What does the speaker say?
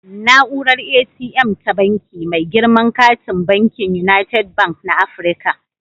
Na'urar ATM ta Banki, mai girman katin bankin United Bank na Afirka